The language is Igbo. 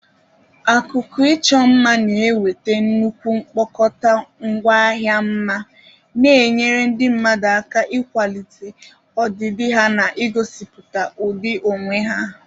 Akụkụ ịchọ mma na-eweta nnukwu mkpokọta ngwaahịa mma, na-enyere ndị mmadụ aka ịkwalite ọdịdị ha na igosipụta ụdị onwe ha.